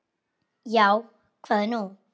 Já, hvað er nú?